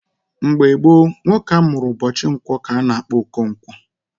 Mgbe gboo, nwoke a mụrụ ụbọchị nkwọ ka a na-akpọ Okonkwo.